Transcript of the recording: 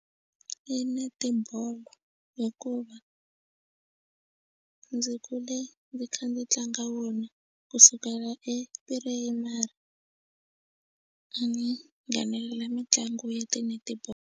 I netibolo hikuva ndzi kule ndzi kha ndzi tlanga wona kusukela e primary a ni nghenelela mitlangu ya ti netball.